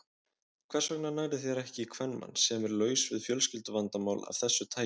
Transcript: Hvers vegna nærðu þér ekki í kvenmann, sem er laus við fjölskylduvandamál af þessu tagi?